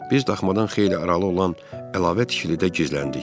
Biz daxmadan xeyli aralı olan əlavə tikilidə gizləndik.